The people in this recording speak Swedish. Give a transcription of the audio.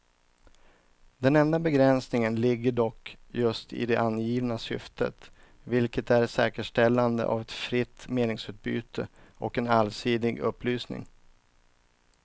Den enda begränsningen ligger dock just i det angivna syftet, vilket är säkerställande av ett fritt meningsutbyte och en allsidig upplysning.